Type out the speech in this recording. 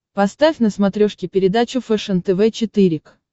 поставь на смотрешке передачу фэшен тв четыре к